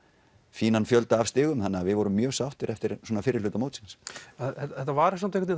fínan fjölda af stigum þannig við vorum mjög sáttir eftir svona fyrri hluta mótsins þetta var samt einhvern